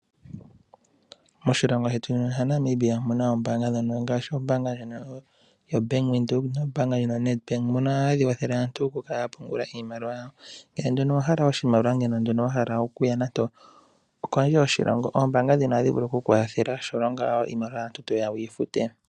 Moshilongo shetu shaNamibia omuna ombaanga ndhono ngaashi ombaanga ndjono yoBank Windhoek nombaanga ndjono yaNedbank ndhono hadhi kwathele aantu okukala ya pungula iimaliwa yawo. Ngele nduno owa hala oshimaliwa okuya nande okondje yoshilongo ombaanga ndhino ohadhi vulu oku ku kwathela shampa ashike iimaliwa mbyono toya wu yi fute.